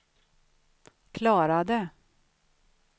klarade